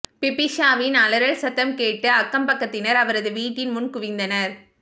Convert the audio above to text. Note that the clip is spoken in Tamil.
பிபிஷாவின் அலறல் சத்தம் கேட்டு அக்கம் பக்கத்தினர் அவரது வீட்டின் முன் குவிந்தனர்